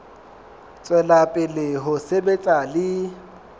tswela pele ho sebetsa le